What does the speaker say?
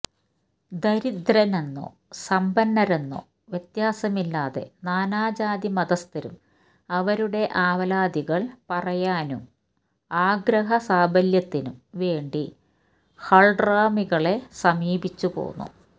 ദരിദ്രരെന്നോ സമ്പന്നരെന്നോ വ്യത്യാസമില്ലാതെ നാനാജാതി മതസ്ഥരും അവരുടെ ആവലാതികള് പറയാനും ആഗ്രഹ സാഫല്യത്തിനും വേണ്ടി ഹള്റമികളെ സമീപിച്ചുപോന്നു